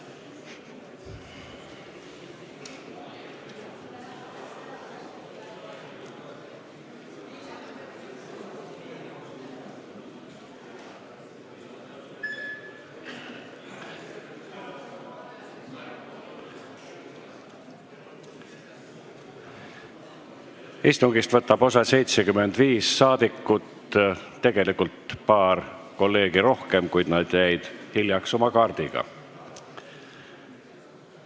Kohaloleku kontroll Istungist võtab osa 75 rahvasaadikut, tegelikult paar kolleegi rohkem, kuid nad jäid hiljaks oma kaardi registreerimisega.